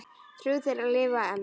Þrjú þeirra lifa enn.